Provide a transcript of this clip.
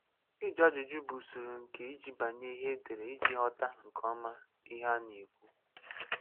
Ị́jụ́ ajụ́jụ́ bụ́ usoro nke ị́jìbanye ihe e dere íjì ghọ́tà nkeọ́ma ihe a na-ēkùwu.